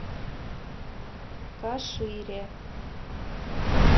кашире